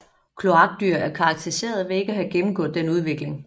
Kloakdyr er karakteriseret ved ikke at have gennemgået denne udvikling